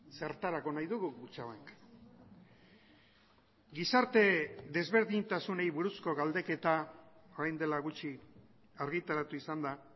zertarako nahi dugu kutxabank gizarte desberdintasunei buruzko galdeketa orain dela gutxi argitaratu izan da